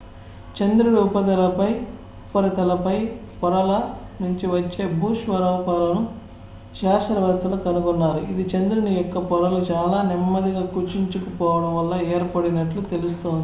చంద్రుడి ఉపరితల పై పొరల నుంచి వచ్చే భూస్వరూపాలను శాస్త్రవేత్తలు కనుగొన్నారు ఇది చంద్రుని యొక్క పొరలు చాలా నెమ్మదిగా కుచించుకుపోవడం వల్ల ఏర్పడినట్లు తెలుస్తోంది